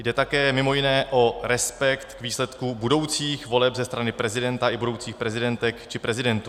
Jde také mimo jiné o respekt k výsledku budoucích voleb ze strany prezidenta i budoucích prezidentek či prezidentů.